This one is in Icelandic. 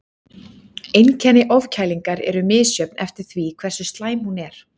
Einkenni ofkælingar eru misjöfn eftir því hversu slæm hún er.